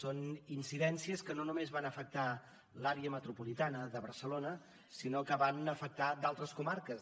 són incidències que no només van afectar l’àrea metropolitana de barcelona sinó que van afectar d’altres comarques